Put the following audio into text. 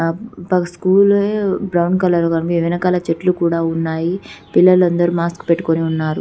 ఆ school brown colour వెనకాల చెట్లు కూడా ఉన్నాయి పిల్లలందరూ మాస్క్ పెట్టుకుని ఉన్నారు